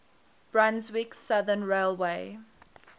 brunswick southern railway